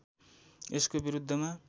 यसको विरुद्धमा